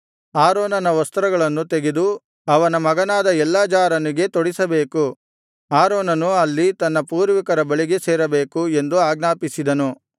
ಆರೋನನ ವಸ್ತ್ರಗಳನ್ನು ತೆಗೆದು ಅವನ ಮಗನಾದ ಎಲ್ಲಾಜಾರನಿಗೆ ತೊಡಿಸಬೇಕು ಆರೋನನು ಅಲ್ಲಿ ತನ್ನ ಪೂರ್ವಿಕರ ಬಳಿಗೆ ಸೇರಬೇಕು ಎಂದು ಆಜ್ಞಾಪಿಸಿದನು